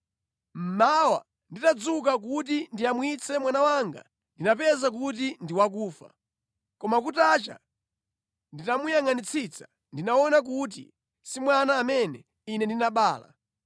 Mmawa nditadzuka kuti ndiyamwitse mwana wanga ndinapeza kuti ndi wakufa! Koma kutacha nditamuyangʼanitsitsa ndinaona kuti si mwana amene ine ndinabala.”